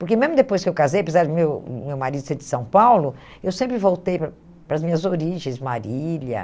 Porque mesmo depois que eu casei, apesar do meu meu marido ser de São Paulo, eu sempre voltei para para as minhas origens, Marília.